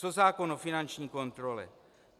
Co zákon o finanční kontrole?